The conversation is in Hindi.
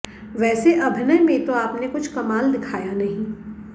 वैसे अभिनय में तो आपने कुछ कमाल दिखाया नहीं